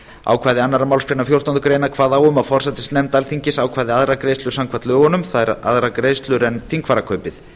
ákvæði annarrar málsgreinar fjórtándu greinar kváðu á um að forsætisnefnd alþingis ákvæði aðrar greiðslur samkvæmt lögunum það er aðrar greiðslur en þingfararkaupið